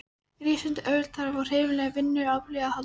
Rísandi auðvald þarf á hreyfanlegu vinnuafli að halda.